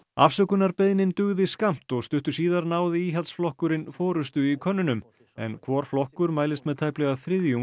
afsökunarbeiðnin dugði skammt og stuttu síðar náði Íhaldsflokkurinn forystu í könnunum en hvor flokkur mælist með tæplega